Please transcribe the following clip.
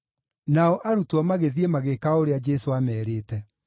Nao arutwo magĩthiĩ magĩĩka o ũrĩa Jesũ aamerĩte.